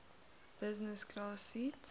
business class seat